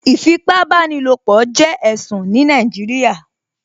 Ìfipábánilopọ̀ jẹ́ ẹ̀sùn ní Nàìjíríà